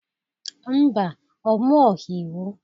Mba, ọ mụọghị iwu.